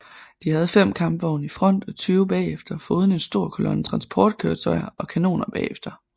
De havde 5 kampvogne i front og 20 bagefter foruden en stor kolonne transportkøretøjer og kanoner bagefter